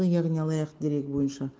яғни алаяқ дерегі бойынша